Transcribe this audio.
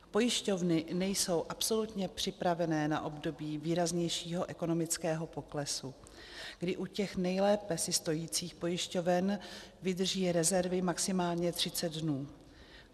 Pojišťovny nejsou absolutně připravené na období výraznějšího ekonomického poklesu, kdy u těch nejlépe si stojících pojišťoven vydrží rezervy maximálně 30 dnů.